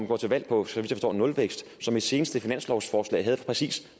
går til valg på nulvækst og som i sit seneste finanslovsforslag havde præcis